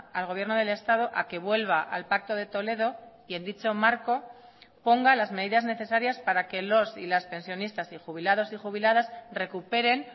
al gobierno del estado a que vuelva al pacto de toledo y en dicho marco ponga las medidas necesarias para que los y las pensionistas y jubilados y jubiladas recuperen